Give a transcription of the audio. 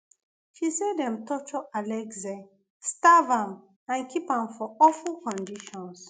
she say dem torture alexei starve am and keep am for awful conditions